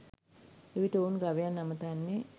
එවිට ඔවුන් ගවයන් අමතන්නේ